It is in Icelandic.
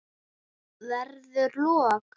Verður rok.